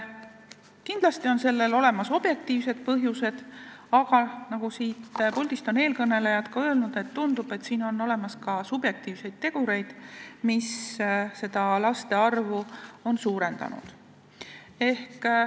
Kindlasti on sellel objektiivsed põhjused, aga nagu siit puldist on eelkõnelejad öelnud, tundub, et siin on ka subjektiivseid tegureid, mis nende laste arvu on suurendanud.